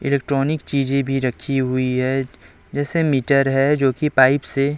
electronic चीज़ें भी रखी हुई हैं जैसे मीटर है जोकि पाइप से--